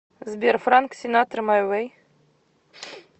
сбер франк синатра май вэй